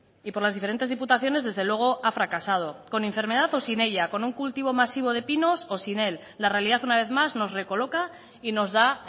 y por las diferentes diputaciones desde luego a fracasado con enfermedad o sin ella con un cultivo masivo de pinos o sin él la realidad una vez más nos recoloca y nos da